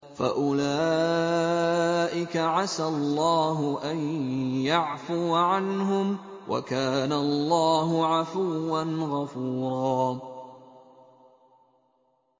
فَأُولَٰئِكَ عَسَى اللَّهُ أَن يَعْفُوَ عَنْهُمْ ۚ وَكَانَ اللَّهُ عَفُوًّا غَفُورًا